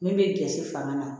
Min bɛ gɛrɛnse fanga na